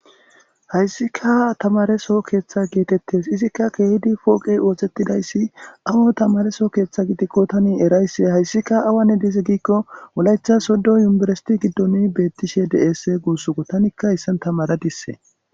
Hayssika tamareso keeththa geetettes izikka keehidi pooqey oothettidayssi amo tamareso keeththa gidikko tani eraysse hayssika awane dize giikko mulaycha soddo yumberasiti giddoni bettishe deese guussoko tanikka hissan tamara dissee